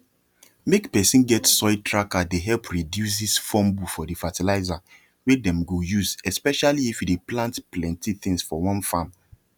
make person get soil tracker dey help reduces fumble for the fertilizer when dem go useespecially if you dey plant plenty things for one farm